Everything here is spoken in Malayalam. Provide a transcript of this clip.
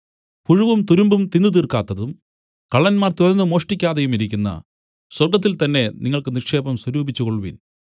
പുഴുവും തുരുമ്പും തിന്നു തീർക്കാത്തതും കള്ളന്മാർ തുരന്നു മോഷ്ടിക്കാതെയുമിരിക്കുന്ന സ്വർഗ്ഗത്തിൽതന്നെ നിങ്ങൾക്ക് നിക്ഷേപം സ്വരൂപിച്ചുകൊൾവിൻ